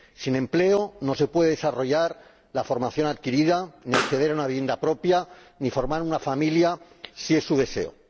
Sin empleo no se puede desarrollar la formación adquirida, ni acceder a una vivienda propia, ni formar una familia, si es su deseo.